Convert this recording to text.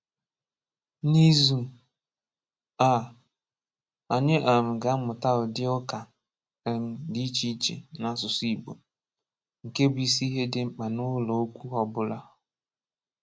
N’izu a, anyị um ga-amụta ụdị ụka um dị iche iche n’asụsụ Igbo, nke bụ isi ihe dị mkpa n’ụlọ okwu ọ bụla.